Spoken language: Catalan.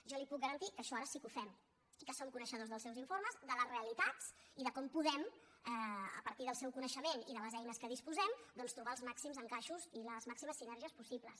jo li puc garantir que això ara sí que ho fem i que som coneixedors dels seus informes de les realitats i de com podem a partir del seu coneixement i de les eines de què disposem doncs trobar els màxims encaixos i les màximes sinergies possibles